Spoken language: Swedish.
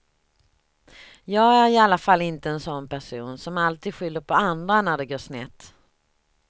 Jag är i alla fall inte en sån person som alltid skyller på andra när det går snett.